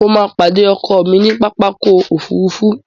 Mo ma pàdé ọkọ mi ní pápákọ̀ ofúrufú